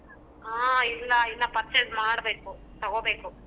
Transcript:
ಹಾ ಇಲ್ಲ ಇನ್ನಾ purchase ಮಾಡ್ಬೇಕು ತಗೋಬೇಕು.